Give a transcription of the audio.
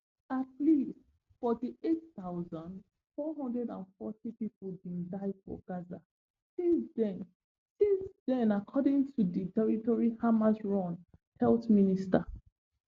at least forty-eight thousand, four hundred and forty pipo din die for gaza since den since den according to di territory hamasrun health ministry